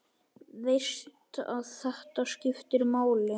Veist að þetta skiptir máli.